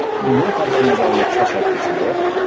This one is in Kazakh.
бұл компания жайлы қысқаша айтып кетсем болады